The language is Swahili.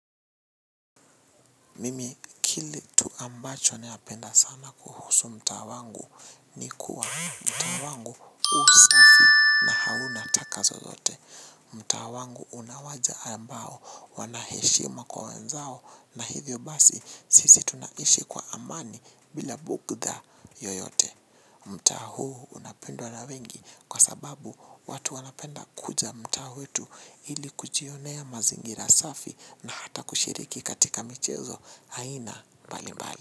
Mimi kile tu ambacho nayapenda sana kuhusu mtaa wangu ni kuwa mtaa wangu usafi na hauna taka zozote. Mtaa wangu unawaja ambao wanaheshima kwa wenzao na hivyo basi sisi tunaishi kwa amani bila bugda yoyote. Mtaa huu unapendwa na wengi kwa sababu watu wanapenda kuja mtaa wetu ili kujionea mazingira safi na hata kushiriki katika michezo aina mbali mbali.